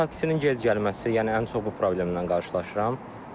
Taksinin gec gəlməsi, yəni mən ən çox bu problemlərlə qarşılaşıram.